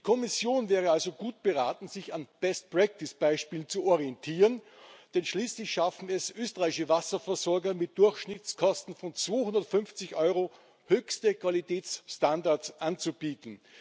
Die Kommission wäre also gut beraten, sich an Best practice Beispielen zu orientieren, denn schließlich schaffen es österreichische Wasserversorger mit Durchschnittskosten von 250 Euro, höchste Qualitätsstandards anzubieten.